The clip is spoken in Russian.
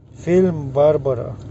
фильм барбара